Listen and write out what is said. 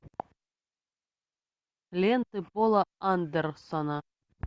ленты пола андерсона